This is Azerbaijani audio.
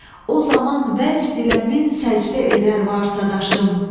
O zaman vəcd ilə min səcdə edər varsa daşım.